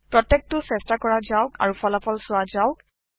প্ৰত্যেকটো চেষ্টা কৰা যাওক আৰু ফলাফল চোৱা যাওক